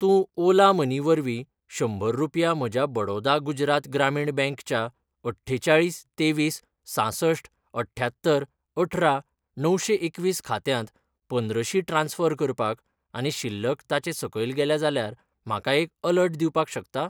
तूं ओला मनी वरवीं शंबर रुपया म्हज्या बडौदा गुजरात ग्रामीण बँक च्या अठ्ठेचाळीस तेवीस सांसष्ठ अठ्यांत्तर अठरा णवशें एकवीस खात्यांत पंद्रशी ट्रान्स्फर करपाक आनी शिल्लक ताचे सकयल गेल्या जाल्यार म्हाका एक अलर्ट दिवपाक शकता?